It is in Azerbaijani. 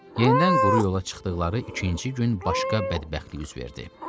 Yenidən quru yola çıxdıqları üçüncü gün başqa bədbəxtlik üz verdi.